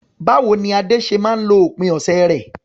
Báwo ni Ade ṣe máa ń lo òpin ọ̀sẹ̀ rẹ̀?